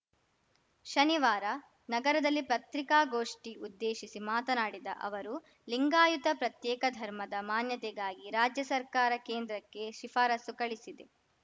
ಶನಿವಾರ ನಗರದಲ್ಲಿ ಪತ್ರಿಕಾಗೋಷ್ಠಿ ಉದ್ದೇಶಿಸಿ ಮಾತನಾಡಿದ ಅವರು ಲಿಂಗಾಯತ ಪ್ರತ್ಯೇಕ ಧರ್ಮದ ಮಾನ್ಯತೆಗಾಗಿ ರಾಜ್ಯ ಸರ್ಕಾರ ಕೇಂದ್ರಕ್ಕೆ ಶಿಫಾರಸು ಕಳುಹಿಸಿದೆ